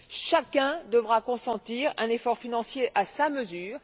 Chacun devra consentir un effort financier à sa mesure.